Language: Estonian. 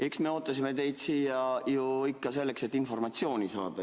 Eks me ootasime teid siia ju ikka selleks, et informatsiooni saada.